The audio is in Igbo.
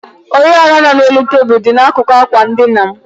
Oriọna nọ n'elu tebụl dị n'akụkụ ákwà ndina m.